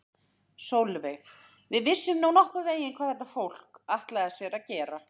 Sólveig: Við vissum nú nokkurn veginn hvað þetta fólk, ætlaði sér að gera?